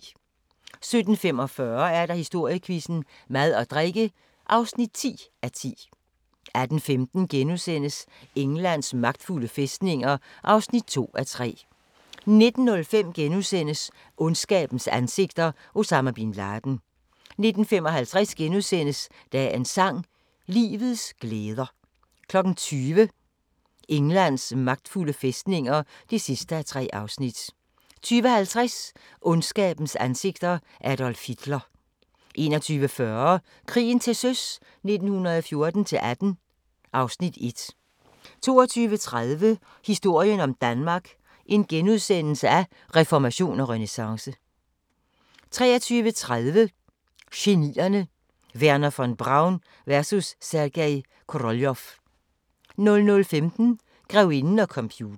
17:45: Historiequizzen: Mad og drikke (10:10) 18:15: Englands magtfulde fæstninger (2:3)* 19:05: Ondskabens ansigter – Osama bin Laden * 19:55: Dagens sang: Livets glæder * 20:00: Englands magtfulde fæstninger (3:3) 20:50: Ondskabens ansigter – Adolf Hitler 21:40: Krigen til søs 1914-18 (Afs. 1) 22:30: Historien om Danmark: Reformation og renæssance * 23:30: Genierne: Wernher von Braun vs. Sergej Koroljov 00:15: Grevinden og computeren